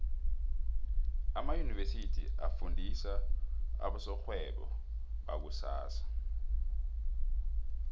amaunivesithi afundisa abosorhwebo bakusasa